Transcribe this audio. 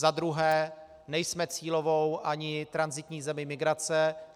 Za druhé, nejsme cílovou ani tranzitní zemí migrace.